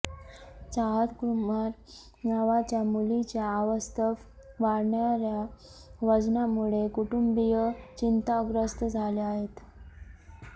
चाहत कुमार नावाच्या मुलीच्या अवास्तव वाढणाऱ्या वजनामुळे कुटुंबीय चिंताग्रस्त झाले आहेत